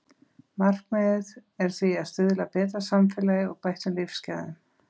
Markmiðið er því að stuðla að betra samfélagi og bættum lífsgæðum.